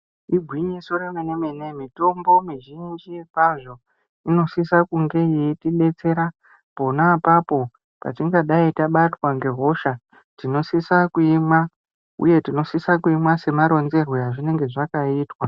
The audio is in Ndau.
Igwinyiso remene mene, mitombo mizhinji kwazvo inosisa kunge yeitibetsera pona apapo patingadai tabatwa ngehosha tinosisa kuimwa uye tinosisa kuimwa semaronzerwe azvinenge zvakaitwa.